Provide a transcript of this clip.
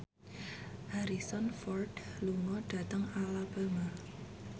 Harrison Ford lunga dhateng Alabama